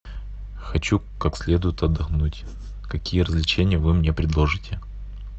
хочу как следует отдохнуть какие развлечения вы мне предложите